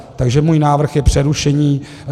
Takže můj návrh je přerušení.